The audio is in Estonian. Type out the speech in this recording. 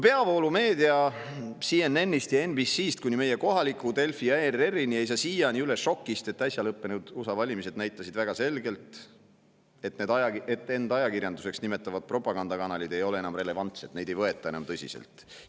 Peavoolumeedia CNN‑ist ja NBC‑st kuni meie kohaliku Delfi ja ERR‑ini ei saa siiani üle šokist, et äsja lõppenud USA valimised näitasid väga selgelt, et end ajakirjanduseks nimetavad propagandakanalid ei ole enam relevantsed, neid ei võeta enam tõsiselt.